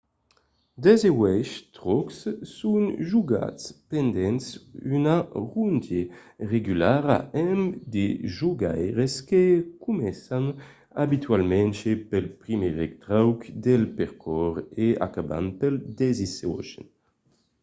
dètz-e-uèch traucs son jogats pendent una ronde regulara amb de jogaires que començan abitualament pel primièr trauc del percors e en acabant pel dètz-e-ochen